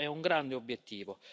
Questo è un grande obiettivo.